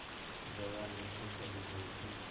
जया नीचे चली गई थी